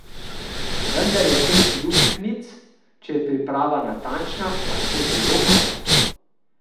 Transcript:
Vendar je teh luknjic, če je priprava natančna, lahko zelo malo.